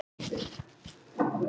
Ráðist gegn ítölsku mafíunni